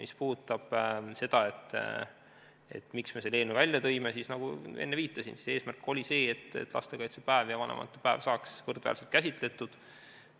Mis puudutab seda, miks me selle eelnõu välja tõime, siis nagu enne viitasin, eesmärk oli see, et lastekaitsepäev ja vanavanemate päev saaksid võrdväärselt käsitletud.